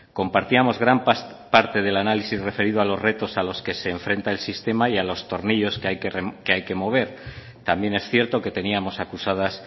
compartíamos gran parte del análisis referido a los retos a los que se enfrenta el sistema y a los tornillos que hay que mover también es cierto que teníamos acusadas